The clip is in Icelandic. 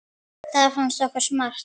Það fannst okkur smart.